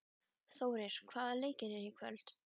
Þórir, hvaða leikir eru í kvöld?